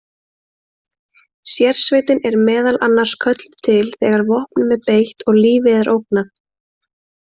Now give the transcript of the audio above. Sérsveitin er meðal annars kölluð til þegar vopnum er beitt og lífi er ógnað.